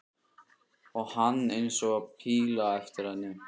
Og hann eins og píla á eftir henni.